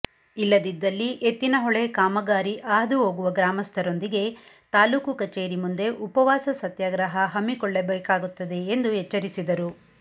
ಇಲ್ಲದಿದ್ದಲ್ಲಿ ಎತ್ತಿನಹೊಳೆ ಕಾಮಗಾರಿ ಹಾದುಹೋಗುವ ಗ್ರಾಮಸ್ಥರೊಂದಿಗೆ ತಾಲೂಕು ಕಚೇರಿ ಮುಂದೆ ಉಪವಾಸ ಸತ್ಯಾಗ್ರಹ ಹಮ್ಮಿಕೊಳ್ಳಬೇಕಾಗುತ್ತದೆ ಎಂದು ಎಚ್ಚರಿಸಿದರು